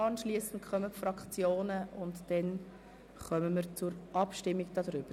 Anschliessend haben die Fraktionen das Wort, danach stimmen wir über den Ordnungsantrag ab.